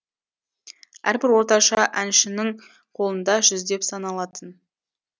әрбір орташа әншінің қолында жүздеп саналатын